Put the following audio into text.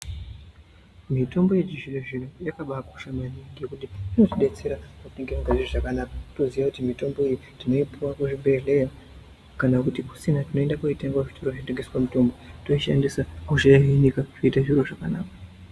Mitombo yechizvino zvino yakabaakosha maningi ngekuti inotidetsera zvotoite zvakanaka ,totoziye kuti mitombo iyi tinoipiwa muzvibhedhlera kana kusina tinoenda koitenga kuzvitoro zvinotengeswa mitombo toishandisa hosha yozvinika zvoita zviro zvakanaka.